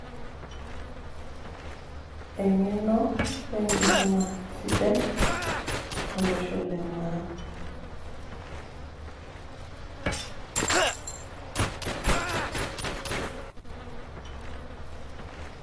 eng'eno we nkisuma sidai, olosho le maa